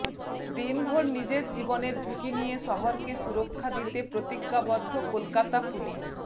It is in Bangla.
দিনভোর নিজের জীবনের ঝুঁকি নিয়ে শহরকে সুরক্ষা দিতে প্রতিজ্ঞাবদ্ধ কলকাতা পুলিশ